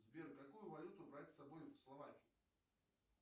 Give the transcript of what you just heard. сбер какую валюту брать с собой в словакию